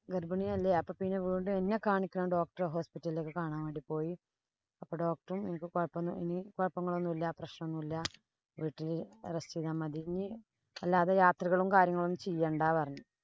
ഗര്‍ഭിണിയല്ലേ. വീണ്ടും എന്നെ കാണിക്കുന്ന doctor ഉട hospital ഇലേക്ക് കാണാന്‍ വേണ്ടി പോയി. അപ്പൊ doctor ഉം ഇനി കൊഴപ്പങ്ങള്‍ ഒന്നും ഇല്ല. പ്രശ്നം ഒന്നുമില്ല. വീട്ടി rest ചെയ്താ മതി. അല്ലാതെ യാത്രകളും കാര്യങ്ങളും ഒന്നും ചെയ്യണ്ടാപറഞ്ഞു.